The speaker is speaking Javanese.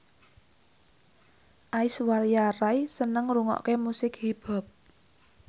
Aishwarya Rai seneng ngrungokne musik hip hop